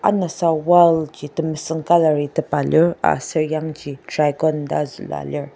anasa wall ji temesüng colour i tepa aser yangji dragon ta zülua lir.